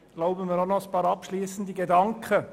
Ich erlaube mir noch ein paar abschliessende Überlegungen.